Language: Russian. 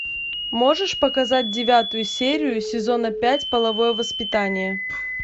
можешь показать девятую серию сезона пять половое воспитание